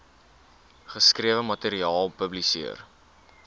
geskrewe materiaal publiseer